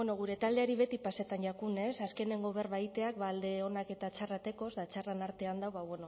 gure taldeari beti pasetan jakunuez azkeneko berba egiteak ba alde onak eta txarrak dekoz ta txarren artean ba bueno